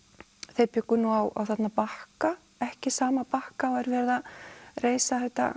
þeir bjuggu nú á Bakka ekki sama Bakka og er verið að reisa þetta